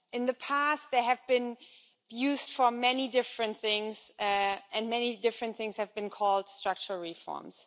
In the past, they have been used for many different things and many different things have been called structural reforms.